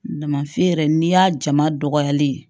Damafi yɛrɛ n'i y'a jama dɔgɔyalen ye